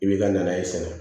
I b'i ka nazi na